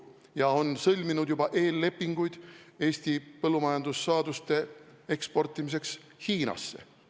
Ta on sõlminud juba eellepinguid Eesti põllumajandussaaduste eksportimiseks Hiinasse.